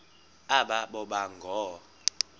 aba boba ngoo